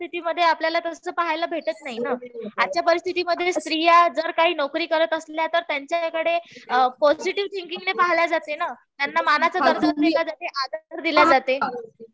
परिस्थितीमध्ये आपल्याला तसं पाहायला भेटत नाही ना. आजच्या परिस्थितीमध्ये स्त्रिया जर काही नोकरी करत असल्या तर त्यांच्याकडे पॉजिटीव्ह थिंकिंग ने पहिल्या जाते ना. त्यांना मनाचा दर्जा दिला जातो. आदर दिला जाते.